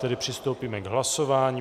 Tedy přistoupíme k hlasování.